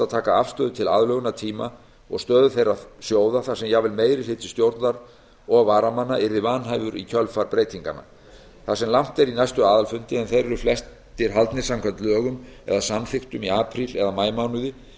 taka afstöðu til aðlögunartíma og stöðu þeirra sjóða þar sem jafnvel meiri hluti stjórnar og varamanna yrði vanhæfur í kjölfar breytinganna þar sem langt er í næstu aðalfundi en þeir eru flestir haldnir samkvæmt lögum eða samþykktum í apríl og maímánuði